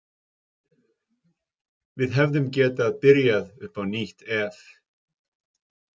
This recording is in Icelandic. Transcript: Við hefðum getað byrjað upp á nýtt ef.